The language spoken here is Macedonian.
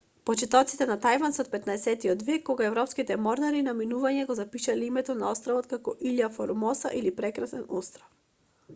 почетоците на тајван се од 15-тиот век кога европските морнари на минување го запишале името на островот како иља формоса или прекрасен остров